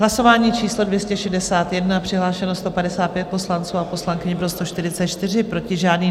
Hlasování číslo 261, přihlášeno 155 poslanců a poslankyň, pro 144, proti žádný.